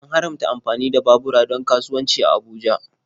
An haramta amfani da babura don kasuwanci a Abuja.